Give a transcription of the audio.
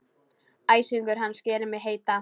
Æsingur hans gerir mig heita.